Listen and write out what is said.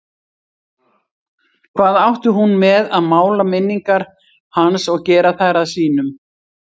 Hvað átti hún með að mála minningar hans og gera þær að sínum?